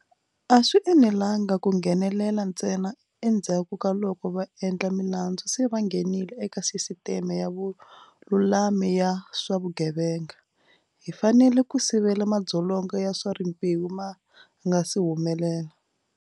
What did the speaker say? A swi enelanga ku nghenelela ntsena endzhaku ka loko vaendlamilandzu se va nghenile eka sisiteme ya vululami ya swa vugevenga. Hi fanele ku sivela madzolonga ya swa rimbewu ma nga si humelela.